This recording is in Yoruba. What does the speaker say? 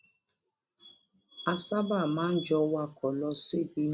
a sábà máa ń jọ wakò lọ síbi